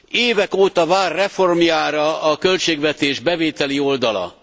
Évek óta vár reformjára a költségvetés bevételi oldala.